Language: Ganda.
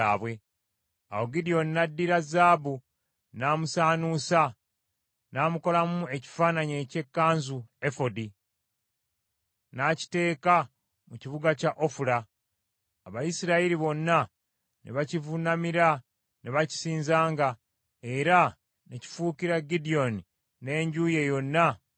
Awo Gidyoni n’addira zaabu n’amusaanuusa n’amukolamu ekifaananyi eky’ekkanzu (efodi), n’akiteeka mu kibuga kye Ofula. Abayisirayiri bonna ne bakivuunamiranga ne bakisinzanga, era ne kifuukira Gidyoni n’enju ye yonna omutego.